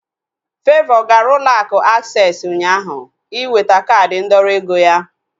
Favour gara ụlọ akụ aksesị ụnyaahụ iweta kaadi ndọrọ ego ya